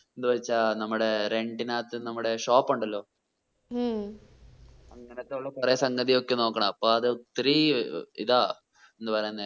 എന്ന് വെച്ച നമ്മടെ rent നാത്ത് നമ്മുടെ shop ഉണ്ടല്ലോ ഉം അങ്ങനത്തെ കൊറേ സംഗതിയൊക്കെ നോക്കണം അപ്പൊ അത് ഒത്തിരി ഇതാ എന്താ പറയുന്നേ